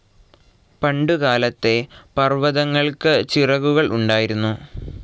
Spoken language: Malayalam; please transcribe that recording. പണ്ടുകാലത്തെ പർവ്വതങ്ങൾക്ക് ചിറകുകൾ ഉണ്ടായിരുന്നു.